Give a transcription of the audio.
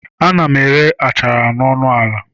Ana m ere achara ọnụ ala.